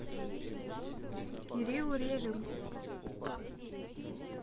кирилл ревин